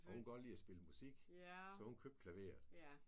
Og hun kunne godt lide at spille musik så hun købte klaveret